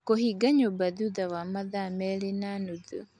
kũhinga nyũmba thutha wa mathaa merĩ na nuthu